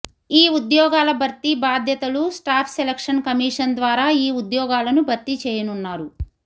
ఈ ఉద్యోగాల భర్తీ బాధ్యతలు స్టాఫ్ సెలక్షన్ కమీషన్ ద్వారా ఈ ఉద్యోగాలను భర్తీ చేయనున్నారు